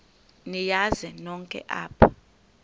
niyazi nonk apha